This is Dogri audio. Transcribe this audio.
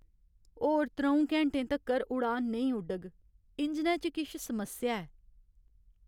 होर त्र'ऊं घैंटे तक्कर उड़ान नेईं उडग। इंजनै च किश समस्या ऐ।